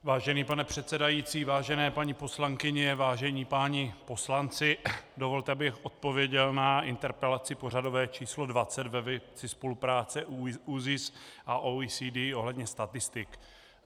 Vážený pane předsedající, vážené paní poslankyně, vážení páni poslanci, dovolte, abych odpověděl na interpelaci pořadové číslo 20 ve věci spolupráce ÚZIS a OECD ohledně statistik.